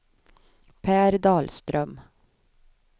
Pär Dahlström